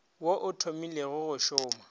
wo o thomilego go šoma